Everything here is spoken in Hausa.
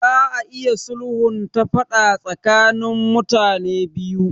Za a iya sulhunta faɗa tsakanin mutane biyu.